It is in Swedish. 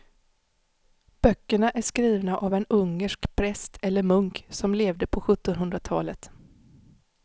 Böckerna är skrivna av en ungersk präst eller munk som levde på sjuttonhundratalet.